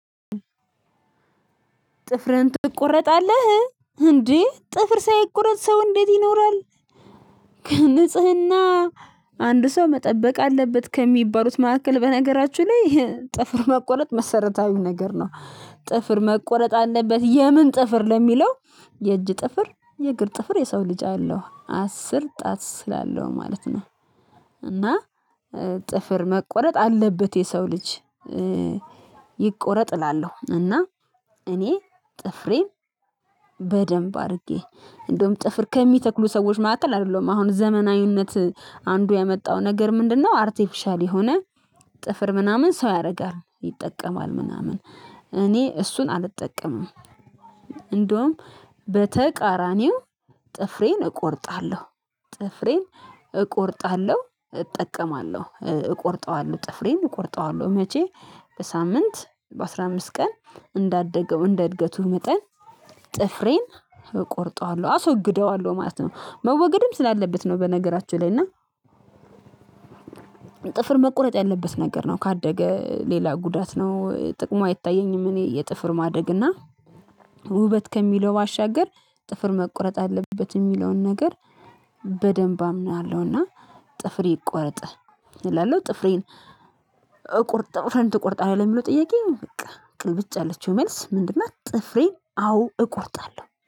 ጥፍርህን ትቆረጣለህ እንዴ ጥፍር ሳይቆረጥ ሰው እንዴት ይኖራል? ንጽህና አንድ ሰው መጠበቅ አለበት ከሚባሉት መካከል በነገራችሁ ላይ ጥፍር መቆረጥ መሰረታዊ ነገር ነው። ጥፍር መቆረጥ አለበት የምን ጥፍር ለሚለው የእጅ ጥፍር የእግር ጥፍር የሰው ልጅ አለው አስር ጣት ስላለው ማለት ነው። እና ጥፍር መቆረጥ አለበት የሰው ልጅ። ይቆረጥ እላለሁ እና እኔ ጥፍሬን በደንብ አድርጌ እንደውም ጥፍር ከሚተክሉ ሰዎች ማሃከል አይደለም አሁን ዘመናዊነት አንዱ ያመጣው ነገር ምንድነው? አርቴፊሻል የሆነ ጥፍር ምናምን ሰው ያደርጋል ይጠቀማል ምናምን እኔ እሱን አልጠቀምም። እንደውም በተቃራኒው ጥፍሬን እቆርጣለሁ። ጥፍሬን እቆርጣለሁ እጠቀማለሁ እቆርጠዋለሁ ጥፍሬን እቆርጠዋለሁ። መቼ በሳምንት በአስር አምስት ቀን እንዳደገው እንደ እድገቱ መጠን። ጥፍሬን እቆርጠዋለሁ አስወግደዋለሁ ማለት ነው መወገድም ስላለበት ነው። በነገራችን ላይ እና ጥፍር መቁረጥ ያለበት ነገር ነው ካደገ ሌላ ጉዳት ነው ጥቅሙ አይታየኝም። እኔ የጥፍር ማደግ እና ውበት ከሚለው ባሻገር ጥፍር መቆረጥ አለበት የሚለውን ነገር በደንብ አምናለሁና። ጥፍር ይቆርጥ እላለሁ ጥፍሬን እቆርጥ ጥፍርህን ትቆርጣለህ ለሚለው ጥያቄ በቃ ቅልብጭ የለችው መልስ ምንድን ነት? ጥፍሬን አዎ እቆርጣለሁ